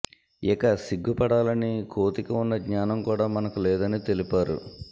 ఇక సిగ్గుపడాలని కోతికి ఉన్న జ్ఞానం కూడా మనకు లేదని తెలిపారు